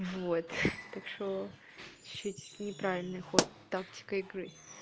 вот так что чуть-чуть неправильный ход тактика игры